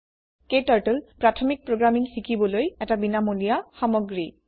ক্টাৰ্টল প্ৰাথমিক প্ৰোগ্ৰামিঙ শিকিবলৈ এটা বিনামূলীয়া সামগ্ৰী